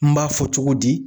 N b'a fɔ cogo di